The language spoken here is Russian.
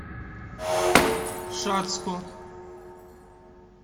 шацку